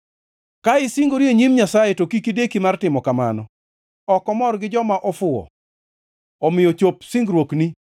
Ka isingori e nyim Nyasaye, to kik ideki mar timo kamano. Ok omor gi joma ofuwo; omiyo chop singruokni.